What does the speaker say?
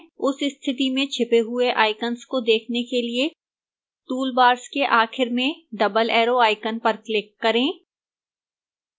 उस स्थिति में छिपे हुए icons को देखने के लिए toolbars के आखिर में double arrow icon पर click करें